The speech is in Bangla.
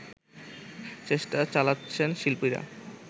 চেষ্টা চালাচ্ছেন শিল্পীরা